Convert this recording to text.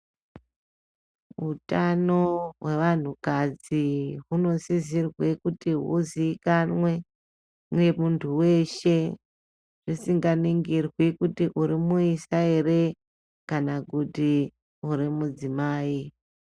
Utano hwevanhukadzi hunosisirwe kuti huziikanwe nemuntu weshe husinganingirwi kuti uri muisa here kana kuti uri mudzimai.